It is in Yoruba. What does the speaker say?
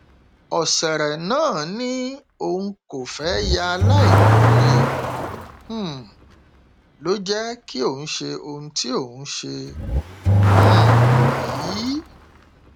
ọsẹrẹ náà ni òun kò fẹẹ ya aláìmoore um ló jẹ kí òun ṣe ohun tí òun ṣe um yìí